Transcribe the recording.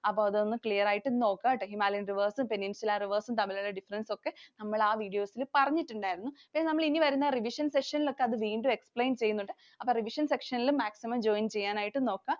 അപ്പൊ അതൊന്നു clear ആയിട്ട് നോക്കാട്ടോ. Himalayan Rivers, Peninsular Rivers തമ്മിലുള്ള difference ഒക്കെ നമ്മൾ ആ videos ൽ പറഞ്ഞിട്ടുണ്ടായിരുന്നു. നമ്മൾ ഇനി വരുന്ന revision session ൽ ഒക്കെ അത് വീണ്ടും explain ചെയ്യുന്നുണ്ട്. അപ്പോൾ revision session ൽ maximum join ചെയ്യാൻ ആയിട്ട് നോക്ക.